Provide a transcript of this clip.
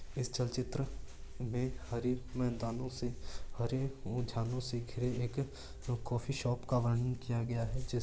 इस चल चित्र में हरी मैदानों से हरे ओजानो से घिरे एक कॉफ़ी शॉप का वर्णन किया गया है जिस --